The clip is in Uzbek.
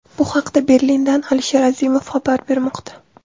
Bu haqda Berlindan Alisher Azimov xabar bermoqda.